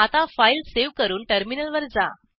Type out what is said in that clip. आता file save करून टर्मिनलवर जा